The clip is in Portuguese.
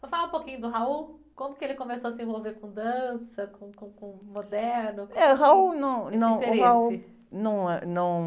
Então fala um pouquinho do, como que ele começou a se envolver com dança, com, com, com moderno, como esse interesse?, num, num, o, num é, num...